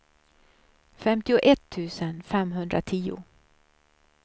femtioett tusen femhundratio